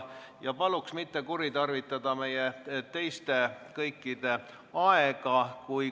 Palun mitte kuritarvitada meie kõikide aega!